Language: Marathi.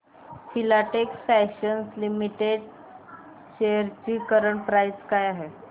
फिलाटेक्स फॅशन्स लिमिटेड शेअर्स ची करंट प्राइस काय आहे